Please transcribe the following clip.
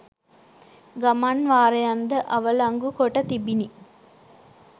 ගමන් වාරයන් ද අවලංගු කොට තිබිණි